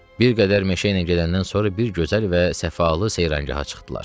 Bir qədər meşə ilə gedəndən sonra bir gözəl və səfalı seyranqaha çıxdılar.